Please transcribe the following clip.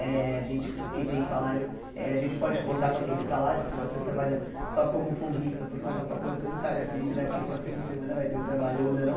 Eh a gente que tem salário, eh a gente pode contar com aquele salário se você trabalha só como folguista, por conta própria você não sabe se daqui o próximo fim de semana vai ter um trabalho ou não.